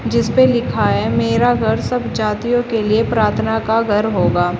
जिस पे लिखा है मेरा घर सब जातियों के लिए प्रार्थना का घर होगा।